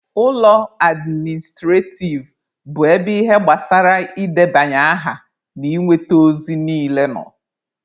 Ụlọ administrativ bụ ebe ihe gbasara ị debanye aha na inweta ozi niile nọ.